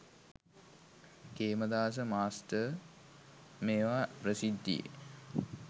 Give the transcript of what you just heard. Khemadasa master මේවා ප්‍රසිද්ධියේ